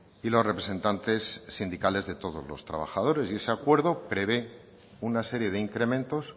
y los representantes sindicales de todos los trabajadores y ese acuerdo prevé una serie de incrementos